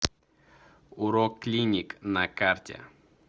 уроклиник на карте